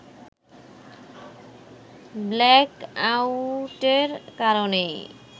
black আউটের কারণেই